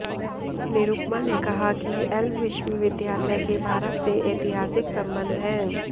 निरुपमा ने कहा कि एल विश्वविद्यालय के भारत से ऐतिहासिक संबंध हैं